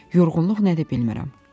Yorğunluq nədir bilmirəm.